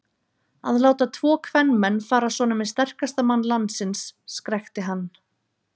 Að láta tvo kvenmenn fara svona með sterkasta mann landsins, skrækti hann.